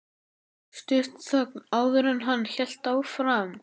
Stutt þögn, áður en hann hélt áfram.